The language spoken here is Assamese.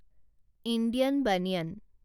Indian banyan